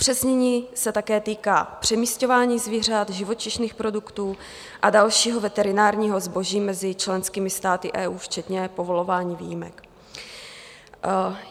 Upřesnění se také týká přemisťování zvířat, živočišných produktů a dalšího veterinárního zboží mezi členskými státy EU včetně povolování výjimek.